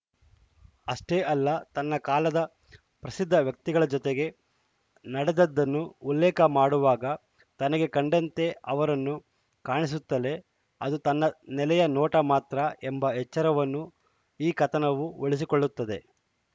ಅಷ್ಟೇ ಅಲ್ಲ ತನ್ನ ಕಾಲದ ಪ್ರಸಿದ್ಧವ್ಯಕ್ತಿಗಳ ಜತೆಗೆ ನಡೆದದ್ದನ್ನು ಉಲ್ಲೇಖ ಮಾಡುವಾಗ ತನಗೆ ಕಂಡಂತೆ ಅವರನ್ನು ಕಾಣಿಸುತ್ತಲೇ ಅದು ತನ್ನ ನೆಲೆಯ ನೋಟ ಮಾತ್ರ ಎಂಬ ಎಚ್ಚರವನ್ನೂ ಈ ಕಥನವು ಉಳಿಸಿಕೊಳ್ಳುತ್ತದೆ